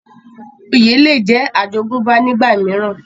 oyè le jẹ́ àjogúnbá nígbà mìíràn